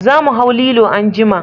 Za mu hau lilo anjima